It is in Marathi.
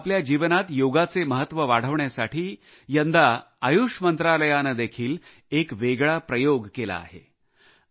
तसेच आपल्या जीवनात योगचे महत्व वाढविण्यासाठी यंदा आयुष मंत्रालयाने देखील एक वेगळा प्रयोग केला आहे